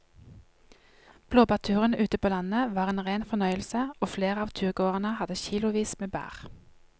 Blåbærturen ute på landet var en rein fornøyelse og flere av turgåerene hadde kilosvis med bær.